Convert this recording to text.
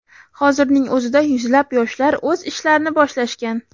Hozirning o‘zida yuzlab yoshlar o‘z ishlarni boshlashgan.